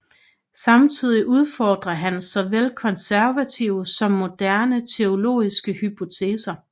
Samtidig udfordrer han såvel konservative som moderne teologiske hypoteser